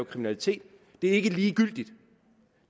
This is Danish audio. kriminalitet det er ikke ligegyldigt